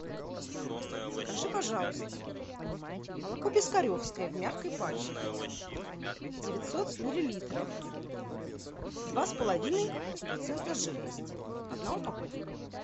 закажи пожалуйста молоко пискаревское в мягкой пачке девятьсот миллилитров два с половиной процента жирности одна упаковка